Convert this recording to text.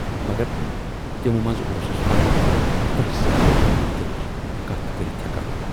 مگر تِمو منزٕ اوسُس فقط تۄہہِ سۭتۍ بہٕ پننہِ دِلچہِ کتھٕ کٔرِتھ ہٮ۪کان۔